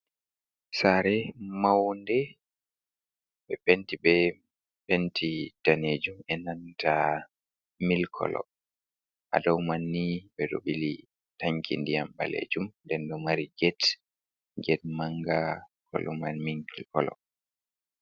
Sare maunde ɓe penti, be penti danejum enanta mil kolo hadow man ni ɓe ɗo bili tanki ndiyam balejum den ɗo mari get get manga koloman mil kolo.